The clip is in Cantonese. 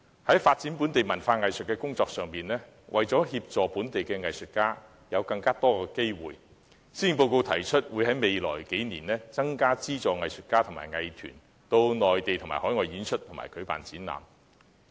在發展本地文化藝術的工作方面，為讓本地藝術家能有更多發展機會，施政報告提出在未來數年增加資助藝術家和藝術團體到內地和海外演出及舉辦展覽。